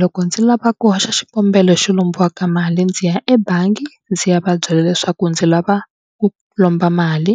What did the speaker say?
Loko ndzi lava ku hoxa xikombelo xo lombiwa ka mali ndzi ya ebangi ndzi ya va byela leswaku ndzi lava ku lomba mali.